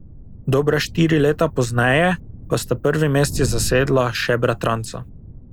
Dobre štiri leta pozneje pa sta prvi mesti zasedla še bratranca.